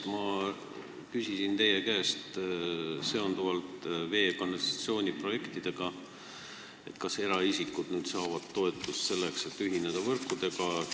Ma küsisin teie käest komisjonis vee- ja kanalisatsiooniprojektide kohta – kas eraisikud saavad nüüd toetust, selleks et võrkudega ühineda?